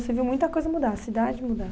Você viu muita coisa mudar, a cidade mudar.